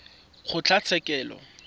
kgotlatshekelo